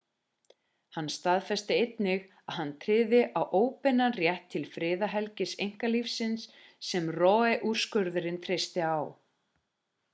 hann staðfesti einnig að hann tryði á óbeinan rétt til friðhelgis einkalífs sem roe-úrskurðurinn treysti á